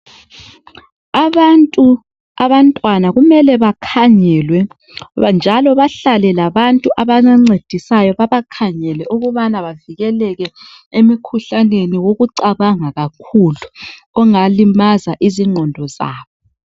Abantu abantwana kumele bakhangelwe njalo bahlale labantu ababancedisayo babakhangele ukubana bavikeleke emkhuhlaneni wokucabanga kakhulu ongalimaza izingqondo zabo